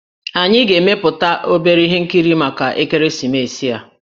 Anyị ga-emepụta obere ihe nkiri maka ekeresimesi a